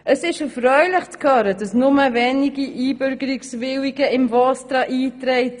Es ist erfreulich zu hören, dass nur wenige Einbürgerungswillige im VOSTRA eingetragen sind.